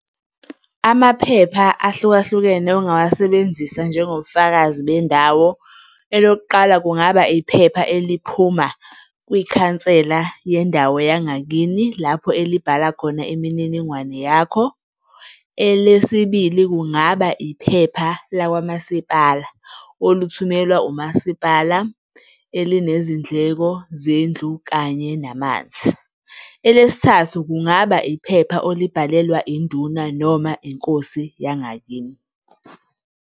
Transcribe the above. Amaphepha ahlukahlukene ongawasebenzisa njengobufakazi bendawo. Elokuqala, kungaba iphepha eliphuma kwikhansela yendawo yangakini, lapho elibhala khona imininingwane yakho. Elesibili, kungaba iphepha lakwamasipala olithumelwa umasipala, elinezindleko zendlu kanye namanzi. Elesithathu, kungaba iphepha olibhalelwa induna noma inkosi yangakini.